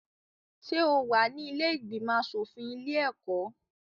Ṣé o wà ní ilé ìgbìmọ̀-aṣòfin ilé-ẹ̀kọ́?